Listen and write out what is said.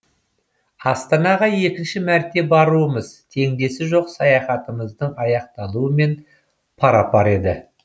астанаға екінші мәрте баруымыз теңдесі жоқ саяхатымыздың аяқталуымен пара пар еді